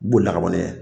B'o la kaban ne